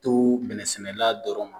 To bɛnɛsɛnɛla dɔrɔn ma